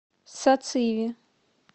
сациви